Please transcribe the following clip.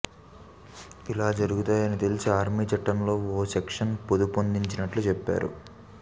ఇలా జరుగుతాయని తెలిసే ఆర్మీ చట్టంలో ఓ సెక్షన్ పొందుపర్చినట్లు చెప్పారు